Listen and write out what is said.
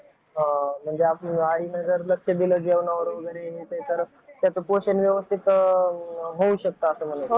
कोणतं? BCS हा बरेच लोक bcs हे पण ऐकलं आहे खूप चांगलं carrier option आहे. केलं पाहिजे.